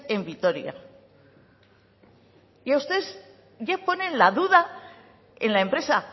en vitoria y ustedes ya ponen la duda en la empresa